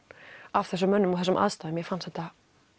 af þessum mönnum og þessum aðstæðum og mér fannst þetta